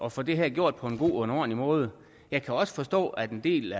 at få det her gjort på en god og en ordentlig måde jeg kan også forstå at en del